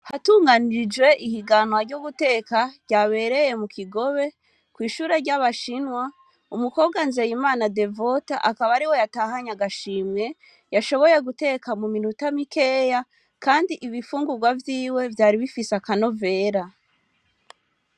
Hatunganijwe ihiganwa ryo guteka ryabereye mu Kigobe kw'ishure ry'abashinwa. Umukobwa NZEYIMANA Devote akaba ariwe yatahanye agashimwe yashoboye guteka muminota mikeya, kandi ibifungurwa vyiwe vyari bifise akanovera.